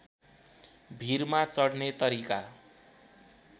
भीरमा चढ्ने तरिका